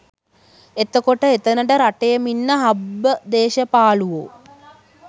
එතකොට එතනට රටේම ඉන්න හම්බ දේශපාලුවෝ